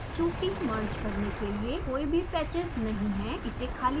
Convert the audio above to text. चूँकि मर्ज करने के लिए कोई भी पैचेज़ नहीं हैं इसे खाली रखा जा सकता है